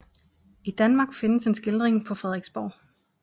I Danmark findes en skildring på Frederiksborg